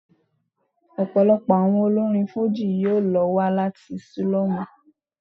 Ọ̀pọ̀lọpọ̀ àwọn olórin Fújì yí ló wá láti sílọ́mù.